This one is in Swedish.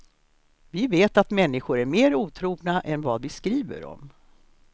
Vi vet att människor är mer otrogna än vad vi skriver om.